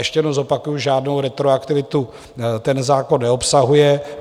Ještě jednou zopakuji, žádnou retroaktivitu ten zákon neobsahuje.